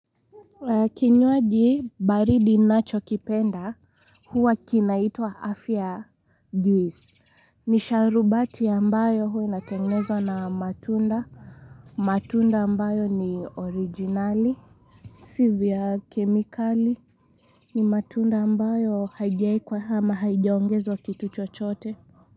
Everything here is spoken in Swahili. Kinywaji baridi ninachokipenda huwa kinaitwa afya juice ni sharubati ambayo huwa inatengenezwa na matunda matunda ambayo ni originali Si vya kemikali ni matunda ambayo haijaekwa ama haijaongezwa kitu chochote.